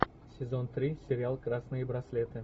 сезон три сериал красные браслеты